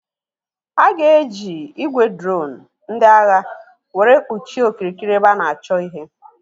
A ga-eji ị́gwè droonu ndị agha were kpuchie okirikiri ebe a na-achọ ihe.